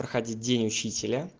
проходил день учителя